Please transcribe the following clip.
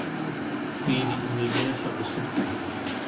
firi iimaylyaasha cusub